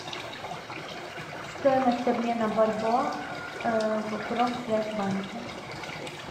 стоимость обмена бальбоа в промсвязьбанке